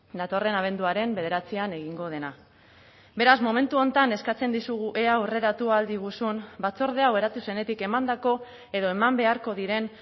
datorren abenduaren bederatzian egingo dena beraz momentu honetan eskatzen dizugu ea aurreratu ahal diguzun batzorde hau eratu zenetik emandako edo eman beharko diren